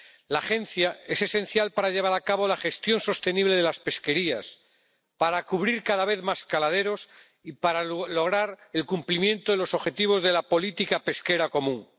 La Agencia es esencial para llevar a cabo la gestión sostenible de las pesquerías, para cubrir cada vez más caladeros y para lograr el cumplimiento de los objetivos de la política pesquera común.